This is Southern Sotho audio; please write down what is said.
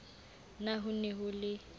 na ho ne ho le